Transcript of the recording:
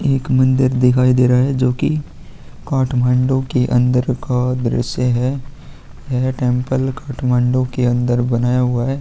एक मंदिर दिखाई दे रहा है जो की काठमांडू के अंदर का दृश्य है यह टेंपल